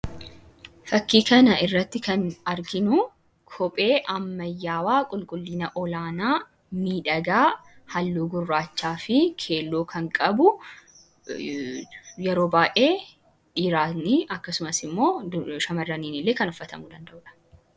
fakkii kana irratti kan arginu kophee ammayyawaa qulqullina olaanaa niidhagaa halluu gurraachaa fi keelloo kan qabu yeroo baa'ee dhiiraanii akkasumas immoo shamaraniin illee kan uffatamuu danda'uudha